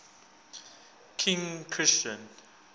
king christian